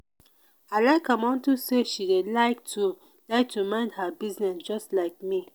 i like am unto say she dey like to like to mind her business just like me